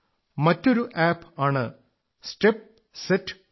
മറ്റൊരു ആപ് ആണ് step set go